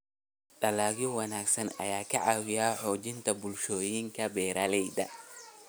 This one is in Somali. Dalagyo wanaagsan ayaa ka caawiya xoojinta bulshooyinka beeralayda.